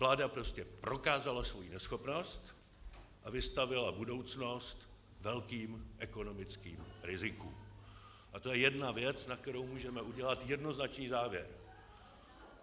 Vláda prostě prokázala svou neschopnost a vystavila budoucnost velkým ekonomickým rizikům, a to je jedna věc, na kterou můžeme udělat jednoznačný závěr.